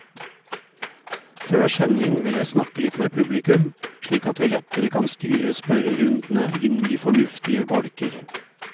Før sending vil jeg snakke litt med publikum, slik at vi lettere kan styre spørrerundene inn i fornuftige bolker.